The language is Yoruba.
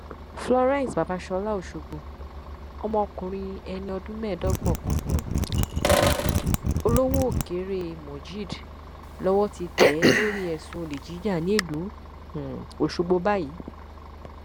florence babasola ọṣọgbọ ọmọkùnrin ẹni ọdún mẹẹdọgbọn kan um olówóòkèrè mojeed lowó ti tẹ lórí ẹsùn olè jíjà nílùú um ọṣọgbó báyìí